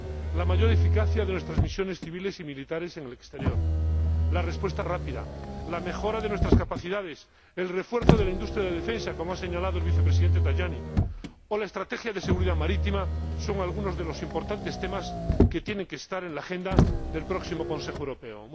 La mayor eficacia de nuestras misiones civiles y militares en el exterior, la respuesta rápida, la mejora de nuestras capacidades, el refuerzo de la industria de defensa —como ha señalado el Vicepresidente Tajani— o la estrategia de seguridad marítima son algunos de los importantes temas que tienen que estar en la agenda del próximo Consejo Europeo.